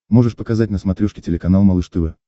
можешь показать на смотрешке телеканал малыш тв